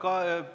Aitäh!